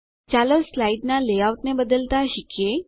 ચાલો સ્લાઇડનાં લેઆઉટ ને બદલતાં શીખીએ